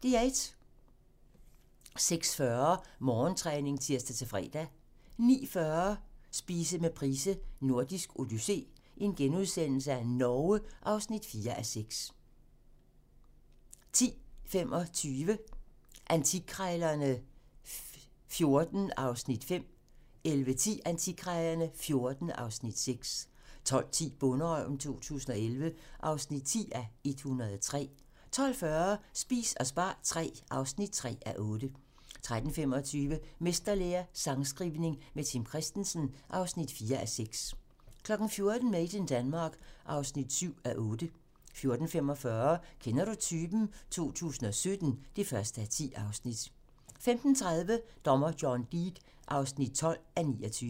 06:40: Morgentræning (tir-fre) 09:40: Spise med Price: Nordisk odyssé - Norge (4:6)* 10:25: Antikkrejlerne XIV (Afs. 5) 11:10: Antikkrejlerne XIV (Afs. 6) 12:10: Bonderøven 2011 (10:103) 12:40: Spis og spar III (3:8) 13:25: Mesterlære - sangskrivning med Tim Christensen (4:6) 14:00: Made in Denmark (7:8) 14:45: Kender du typen? 2017 (1:10) 15:30: Dommer John Deed (12:29)